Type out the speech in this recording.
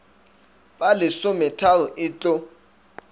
ba lesometharo t t etlo